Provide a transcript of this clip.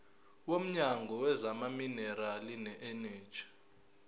womnyango wezamaminerali neeneji